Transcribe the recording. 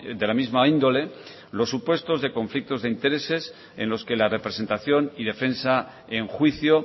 de la misma índole los supuestos de conflictos de intereses en los que la representación y defensa en juicio